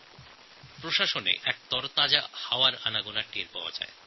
শাসন ব্যবস্থায় এক নতুন স্বচ্ছ বাতাস বয়ে যাওয়ার অনুভূতি হচ্ছে